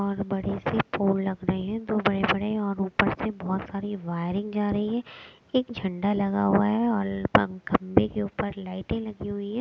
और बड़े से पोल लग रहे हैं दो बड़े-बड़े और ऊपर से बहुत सारी वायरिंग जा रही है एक झंडा लगा हुआ है और पं घंबे के ऊपर लाइटें लगी हुई है।